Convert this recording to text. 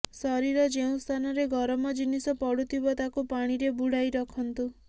ଶରୀର ଯେଉଁ ସ୍ଥାନରେ ଗରମ ଜିନିଷ ପଡୁଥିବ ତାକୁ ପାଣିରେ ବୁଡ଼ାଇ ରଖନ୍ତୁ